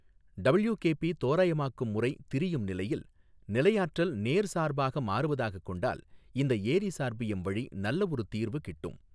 WKB தோராயமாக்கம் முறை திரியும் நிலையில் நிலையாற்றல் நேர்சார்பாக மாறுவதாகக் கொண்டால் இந்த ஏரி சார்பியம் வழி நல்லவொரு தீர்வு கிட்டும்.